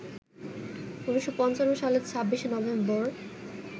১৯৫৫ সালের ২৬শে নভেম্বর